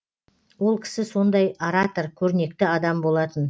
ол кісі сондай оратор көрнекті адам болатын